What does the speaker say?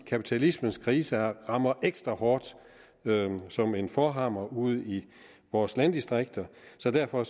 kapitalismens krise rammer ekstra hårdt som en forhammer ude i vores landdistrikter så derfor